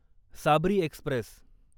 Sabri Express